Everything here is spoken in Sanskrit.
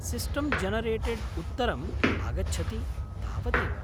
सिस्टम् जेनरेटेड् उत्तरम् आगच्छति, तावदेव।